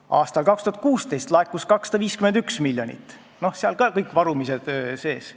Aastal 2016 laekus 251 miljonit, seal on ka kõik varumised sees.